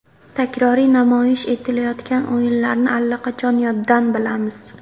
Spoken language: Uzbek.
Takroriy namoyish etilayotgan o‘yinlarni allaqachon yoddan bilamiz.